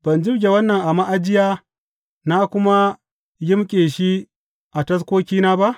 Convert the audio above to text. Ban jibge wannan a ma’ajiya na kuma yimƙe shi a taskokina ba?